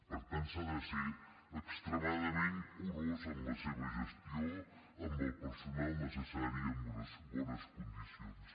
per tant s’ha de ser extremadament curós en la seva gestió amb el personal necessari i amb unes bones condicions